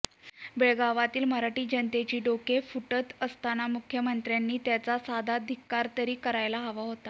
बेळगावातील मराठी जनतेची डोकी फुटत असताना मुख्यमंत्र्यांनी त्याचा साधा धिक्कार तरी करायला हवा होता